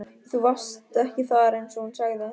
Þú varst ekki þar einsog hún sagði.